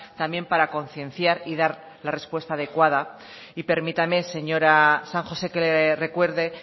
también para concienciar y dar la respuesta adecuada y permítame señora san josé que le recuerde